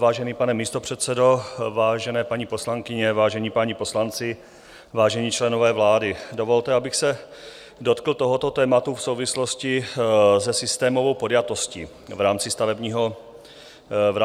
Vážený pane místopředsedo, vážené paní poslankyně, vážení páni poslanci, vážení členové vlády, dovolte, abych se dotkl tohoto tématu v souvislosti se systémovou podjatostí v rámci stavebního řízení.